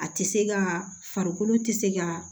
A tɛ se ka farikolo tɛ se ka